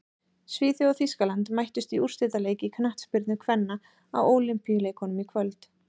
Svíþjóð og Þýskaland mættust í úrslitaleik í knattspyrnu kvenna á Ólympíuleikunum í kvöld.